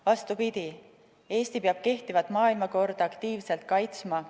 Vastupidi, Eesti peab kehtivat maailmakorda aktiivselt kaitsma.